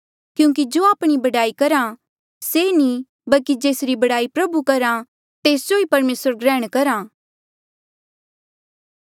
क्यूंकि जो आपणी बड़ाई करहा से नी बल्की जेसरी बड़ाई प्रभु करहा तेस जो ई परमेसर ग्रैहण करहा